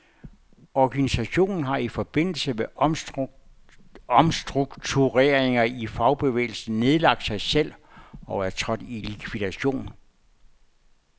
Organisationen har i forbindelse med omstruktureringer i fagbevægelsen nedlagt sig selv og er trådt i likvidation.